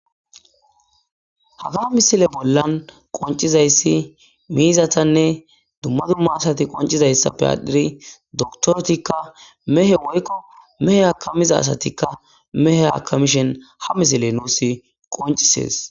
haga misile bollan qoncizayssi miizatanne dumma dumma asati qoncizayssappe aadhiri doktoretikka mehe woykko mehe hakamiza asatikka mehe hakamishen ha misile nuus qoncises